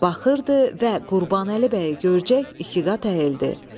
Baxırdı və Qurbanəli bəyi görcək ikiqat əyildi.